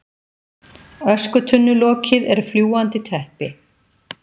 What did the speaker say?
Öskutunnulokið er fljúgandi teppi.